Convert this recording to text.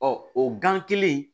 Ɔ o gan kelen